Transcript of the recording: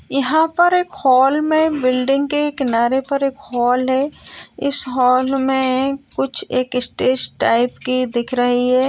यहाँ पर एक हॉल में बिल्डिंग के किनारे पर एक हॉल है। इस हॉल में कुछ एक स्टेज टाइप की दिख रही है।